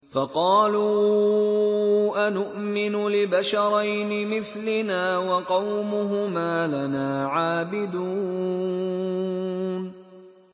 فَقَالُوا أَنُؤْمِنُ لِبَشَرَيْنِ مِثْلِنَا وَقَوْمُهُمَا لَنَا عَابِدُونَ